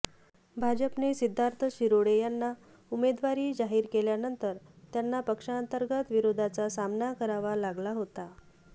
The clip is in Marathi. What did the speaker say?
भाजपने सिद्धार्थ शिरोळे यांना उमेदवारी जाहीर केल्यानंतर त्यांना पक्षांतर्गत विरोधाचा सामना करावा लागला होता